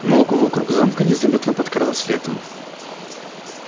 на луга вокруг замка незаметно подкралось лето